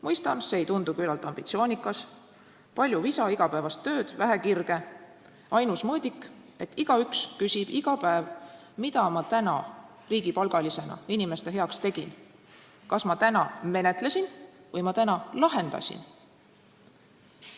Mõistan, et see ei tundu küllalt ambitsioonikas: palju visa igapäevast tööd, vähe kirge ja ainus mõõdik, et igaüks küsib iga päev, mida ta täna riigipalgalisena inimeste heaks tegi, kas ta täna menetles või ta täna lahendas.